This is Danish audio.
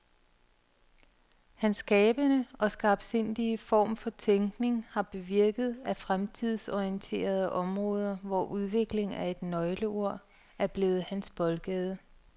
Hans skabende og skarpsindige form for tænkning har bevirket, at fremtidsorienterede områder, hvor udvikling er et nøgleord, er blevet hans boldgade.